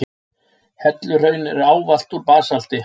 Helluhraun eru ávallt úr basalti.